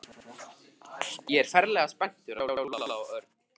Ég er ferlega spenntur að sjá Lúlla sagði Örn.